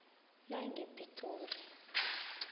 langepitori